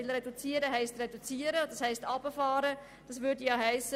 Das heisst, man müsste Leute entlassen, anders kann man es nicht sagen.